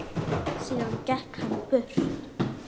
Síðan gekk hann burtu.